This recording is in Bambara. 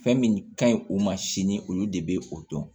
Fɛn min ka ɲi o ma sini olu de bɛ o dɔn